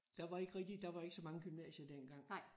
Der var ikke rigtig der var ikke så mange gymnasier dengang